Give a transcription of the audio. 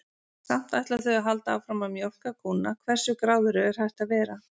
Samt ætla þau að halda áfram að mjólka kúnna, hversu gráðugur er hægt að vera?